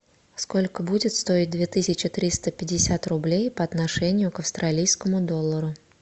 сколько будет стоить две тысячи триста пятьдесят рублей по отношению к австралийскому доллару